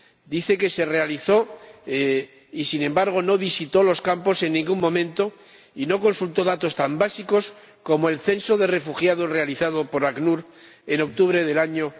Dice que se realizó y, sin embargo, no visitó los campos en ningún momento y no consultó datos tan básicos como el censo de refugiados realizado por ACNUR en octubre del año